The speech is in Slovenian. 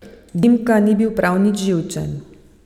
Dimka ni bil prav nič živčen.